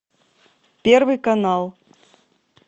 первый канал